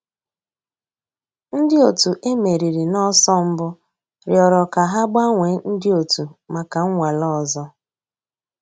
Ǹdí ọ̀tù e mèrìrì n'ọ̀sọ̀ mbù rị̀ọrọ̀ kà hà gbànwèè ńdí ọ̀tù mǎká nnwàlè òzò.